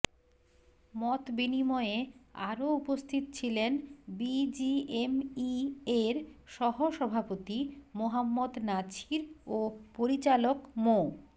মতবিনিময়ে আরো উপস্থিত ছিলেন বিজিএমইএর সহসভাপতি মোহাম্মদ নাছির ও পরিচালক মো